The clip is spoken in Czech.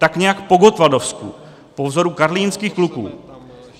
Tak nějak po gottwaldovsku, po vzoru karlínských kluků.